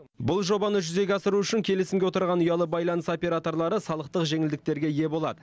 бұл жобаны жүзеге асыру үшін келісімге отырған ұялы байланыс операторлары салықтық жеңілдіктерге ие болады